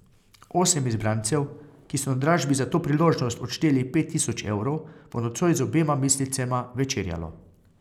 Osem izbrancev, ki so na dražbi za to priložnost odšteli pet tisoč evrov, bo nocoj z obema mislecema večerjalo.